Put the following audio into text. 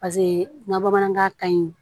Paseke n ga bamanankan ka ɲi